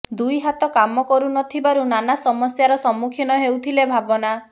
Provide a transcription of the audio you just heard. ଦୁଇ ହାତ କାମ କରୁ ନ ଥିବାରୁ ନାନା ସମସ୍ୟାର ସମ୍ମୁଖୀନ ହେଉଥିଲେ ଭାବନା